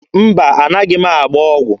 Mba, anaghị m agba ọgwụ.